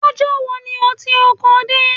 Lọ́jọ́ wo ni o ti oko dé?